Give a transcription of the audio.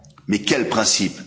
Mais quels principes?